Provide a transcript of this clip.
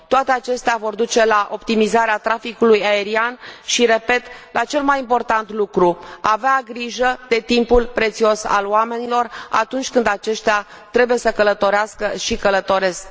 Toate acestea vor duce la optimizarea traficului aerian și, repet, la cel mai important lucru vor avea grijă de timpul prețios al oamenilor atunci când aceștia trebuie să călătorească și călătoresc.